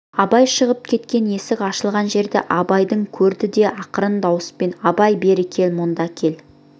абай шығып кеткен есік ашылған жерден абайды көрді де ақырын дауыспен абай бері кел мұнда кел